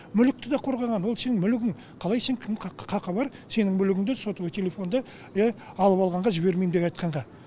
мүлікті да қорғаған ол сенің мүлігін қалай сен кім қақы бар сенің мүлігінді сотовый телефонды алып алғанға жібермейм деп айтқанға